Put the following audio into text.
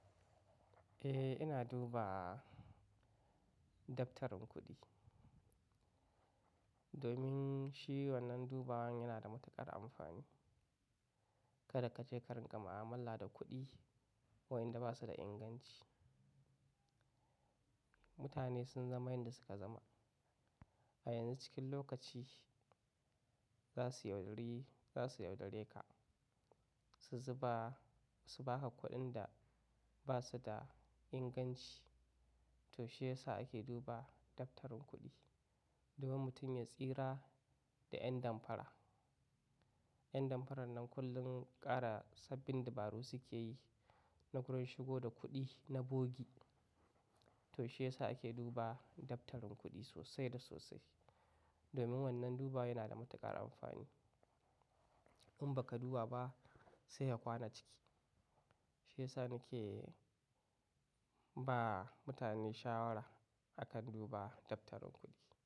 Eh, ina duba daftarin kuɗi domin shi wannan dubawan yana da matuƙar amfani. Kada ka je karin ƙa ma, amalla da kuɗi wayanda ba su da inganci. Mutane sun zama yanda suka zama. A yanzu cikin lokaci za su yaudare ka su zuba, su ba ka kuɗin da ba su da inganci. To shiyasa ake duba daftarin kuɗi, domin mutum ya tsira da yan damfara. Yan damfarar nan kullum ƙara sabbin dabaru suke yi na wurin shigo da kuɗi na bogi. To shiyasa ake duba daftarin kuɗi sosai da sosai domin wannan duba wai yana da matuƙar amfani. In baka duba ba sai ya kwana ciki. Shiyasa nake ba mutane shawara a kan duba daftarin kuɗi.